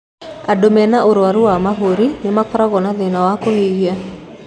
Andũ mena ũrwaru wa mahũri nĩ makorago na thĩna wa kũhihia.